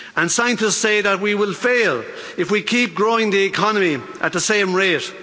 Scientists say that we will fail if we keep growing the economy at the same rate.